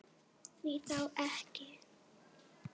Því þá ekki?